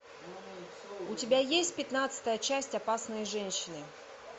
у тебя есть пятнадцатая часть опасные женщины